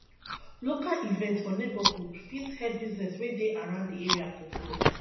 local events for neigbohood fit help business wey dey around di area to grow